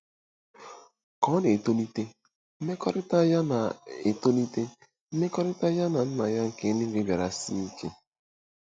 Ka ọ na-etolite, mmekọrịta ya na-etolite, mmekọrịta ya na Nna ya nke eluigwe bịara sie ike.